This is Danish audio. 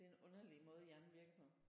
Det er en underlig måde hjernen virker på